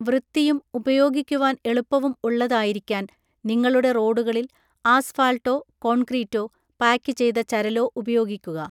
വൃത്തിയും ഉപയോഗിക്കുവാൻ എളുപ്പവും ഉള്ളതായിരിക്കാൻ നിങ്ങളുടെ റോഡുകളിൽ ആസ്ഫാൾട്ടോ, കോൺക്രീറ്റോ, പായ്ക്ക് ചെയ്ത ചരലോ ഉപയോഗിക്കുക.